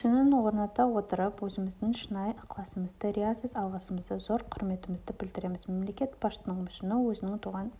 мүсінін орната отырып өзіміздің шынайы ықыласымызды риясыз алғысымызды зор құрметімізді білдіреміз мемлекет басшысыныңмүсіні өзінің туған